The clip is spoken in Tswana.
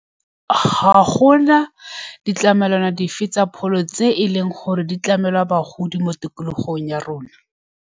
Ga golmna ditlamelwana dife tsa pholo tse e leng gore di tlamela bagodi, mo tikologong ya rona.